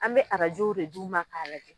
An bɛ arajow de d'u ma ka lajɛ.